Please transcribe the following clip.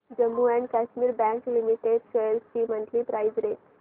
Jammu and Kashmir bank limited shares ची monthly price range